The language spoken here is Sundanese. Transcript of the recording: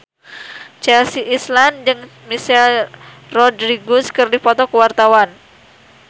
Chelsea Islan jeung Michelle Rodriguez keur dipoto ku wartawan